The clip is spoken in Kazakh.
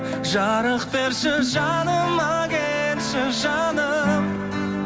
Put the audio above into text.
жарық берші жаныма келші жаным